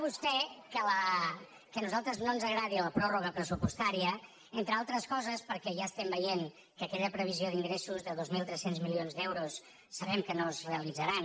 tè que a nosaltres no ens agradi la pròrroga pressupostària entre altres coses perquè ja estem veient que aquella previsió d’ingressos de dos mil tres cents milions d’euros sabem que no es realitzarà